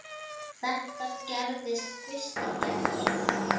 Þetta gerðist fyrst í gær.